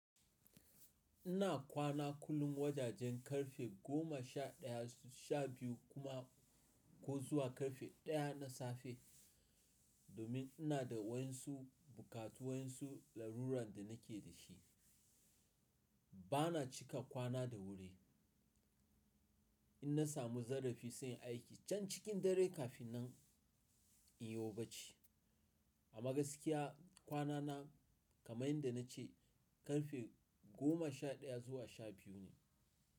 Ina kwana kullum wajajen ƙarfe goma sha ɗaya sha biyu kuma ko zuwa ƙarfe ɗaya na safe. Domin ina da wasu buƙatu, wasu larurar da nake da shi. Bana cika kwana da wuri. In na samu zarafi, sai aiki can cikin dare kafin nan in yiwo baci. A magaskiya kwanana kamar yadda na ce ƙarfe goma sha ɗaya zuwa sha biyu ne.